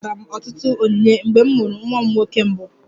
Enwetara m ọtụtụ onyinye mgbe m mụrụ nwa m nwoke mbụ